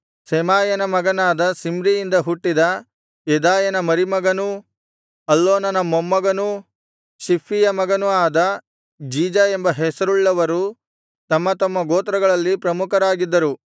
ಶೆಮಾಯನ ಮಗನಾದ ಶಿಮ್ರಿಯಿಂದ ಹುಟ್ಟಿದ ಯೆದಾಯನ ಮರಿಮಗನೂ ಅಲ್ಲೋನನ ಮೊಮ್ಮಗನೂ ಶಿಪ್ಫಿಯ ಮಗನು ಆದ ಜೀಜ ಎಂಬ ಹೆಸರುಳ್ಳವರು ತಮ್ಮ ತಮ್ಮ ಗೋತ್ರಗಳಲ್ಲಿ ಪ್ರಮುಖರಾಗಿದ್ದರು